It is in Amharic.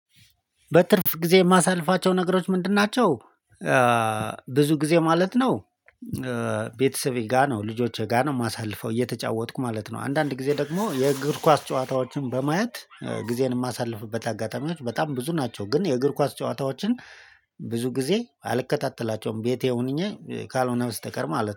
በትርፍ ጊዜ የማሳልፋቸው ነገሮች ምንድን ናቸው? ብዙ ጊዜ ማለት ነው ቤተሰቤ ጋር ነው ልጆቼ ጋር ነው የማሳልፈው እየተጫወትኩ ማለት ነው አንዳንድ ጊዜ ደግሞ የእግር ኳስ ጨዋታዎችን በማየት ጊዜን የማሳልፍበት አጋጣሚዎች በጣም ብዙ ናቸው ግን የእግር ኳስ ጨዋታዎችን ብዙ ጊዜ አልከታተላቸውም ቤቴ ሆኜ ካልሆነ በስተቀር ማለት ነው